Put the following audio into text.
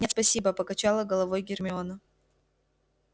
нет спасибо покачала головой гермиона